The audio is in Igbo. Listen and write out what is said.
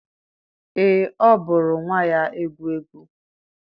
ee, ọ bụụrụ nwa ya egwu egwu.